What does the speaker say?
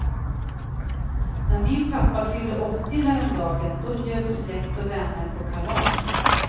När min pappa fyllde åttio häromdagen då bjöds släkt och vänner på kalas.